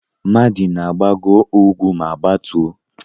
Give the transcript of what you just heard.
Madi ga-agbago úgwú ma gbatuo.